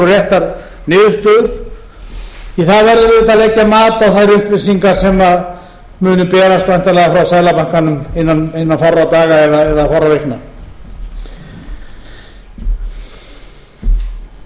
réttar niðurstöður því að það verður auðvitað að leggja mat á þær upplýsingar sem munu berast væntanlega frá seðlabankanum innan fárra daga eða fárra vikna